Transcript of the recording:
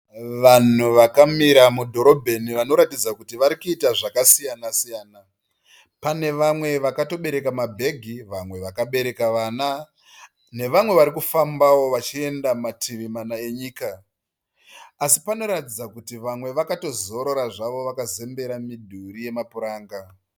Vanhu vakamira mudhorobheni vanoratidza kuti vari kuita zvakasiyana siyana. Pane vamwe vakabereka mabhegi nevamwe vakabereka vana nevamwe vari kufambawo vari kufamba vachienda mativi mana enyika. Asi panoratidza vamwe vakatozorora zvavo vakazembera midhuri yamapuranga.